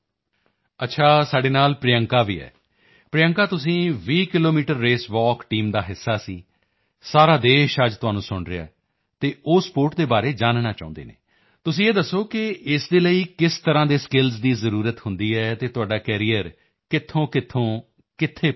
ਅੱਛਾ ਸਾਡੇ ਨਾਲ ਪ੍ਰਿਯੰਕਾ ਵੀ ਹੈ ਪ੍ਰਿਯੰਕਾ ਤੁਸੀਂ 20 ਕਿਲੋਮੀਟਰ ਰੇਸਵਾਕ ਟੀਮ ਦਾ ਹਿੱਸਾ ਸੀ ਸਾਰਾ ਦੇਸ਼ ਅੱਜ ਤੁਹਾਨੂੰ ਸੁਣ ਰਿਹਾ ਹੈ ਅਤੇ ਉਹ ਸਪੋਰਟ ਦੇ ਬਾਰੇ ਜਾਨਣਾ ਚਾਹੁੰਦੇ ਹਨ ਤੁਸੀਂ ਇਹ ਦੱਸੋ ਕਿ ਇਸ ਦੇ ਲਈ ਕਿਸ ਤਰ੍ਹਾਂ ਦੇ ਸਕਿੱਲਸ ਦੀ ਜ਼ਰੂਰਤ ਹੁੰਦੀ ਹੈ ਅਤੇ ਤੁਹਾਡਾ ਕੈਰੀਅਰ ਕਿੱਥੋਂਕਿੱਥੋਂ ਤੋਂ ਕਿੱਥੇ ਪਹੁੰਚਿਆ